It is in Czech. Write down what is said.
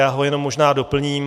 Já ho jenom možná doplním.